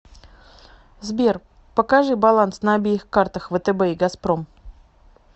сбер покажи баланс на обеих картах втб и газпром